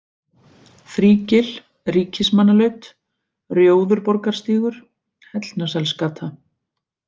Þrígil, Ríkismannalaut, Rjóðurborgastígur, Hellnaselsgata